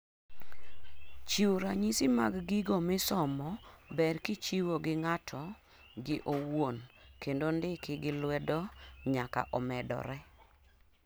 chiwo ranyisi mag gigo misomo ber kichiwo gi ng'ato gi owuon kendo ndiki gi lwedo nyaka omedore